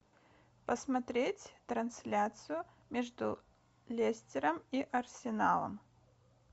посмотреть трансляцию между лестером и арсеналом